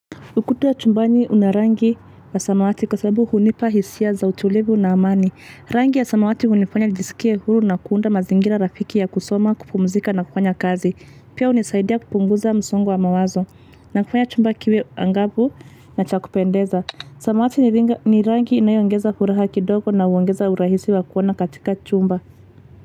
Ukuta wa chumbani una rangi ya samawati kwa sababu hunipa hisia za utulivu na amani. Rangi ya samawati hunifanya nijisikie huru na kuunda mazingira rafiki ya kusoma, kupumzika na kufanya kazi. Pia hunisaidia kupunguza msongo wa mawazo na kufanya chumba kiwe angabu na cha kupendeza. Samawati ni rangi inayoongeza furaha kidogo na huongeza urahisi wa kuona katika chumba.